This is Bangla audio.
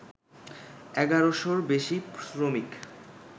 এগারোশোর বেশি শ্রমিক